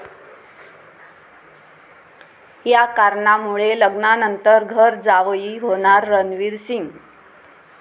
या कारणामुळे, लग्नानंतर घर जावई होणार रणवीर सिंग